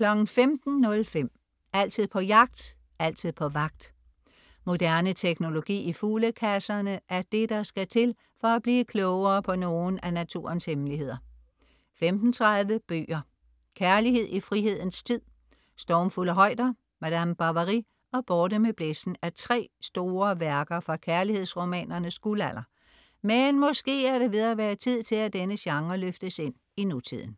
15.05 Altid på jagt, altid på vagt. Moderne teknologi i fuglekasserne er det, der skal til for at blive klogere på nogle af naturens hemmeligheder 15.30 Bøger: Kærlighed i frihedens tid. "Stormfulde højder", "Madame Bovary" og "Borte med blæsten" er tre store værker fra kærlighedsromanernes guldalder, men måske er det ved at være tid til at denne genre løftes ind i nutiden